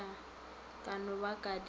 ka no ba di se